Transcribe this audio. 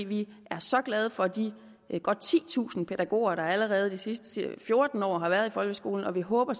vi er så glade for de godt titusind pædagoger der allerede de sidste fjorten år har været i folkeskolen og vi håber